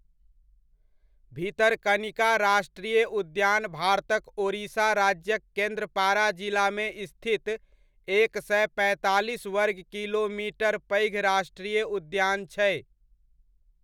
भितरकनिका राष्ट्रीय उद्यान भारतक ओड़िशा राज्यक केंद्रपाड़ा जिलामे स्थित एक सए पैंतालीस वर्ग किलोमीटर पैघ राष्ट्रीय उद्यान छै।